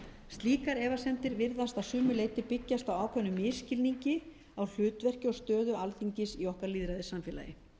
slíkar efasemdir virðast að sumu leyti byggjast á ákveðnum misskilningi á hlutverki og stöðu alþingis í okkar lýðræðissamfélagi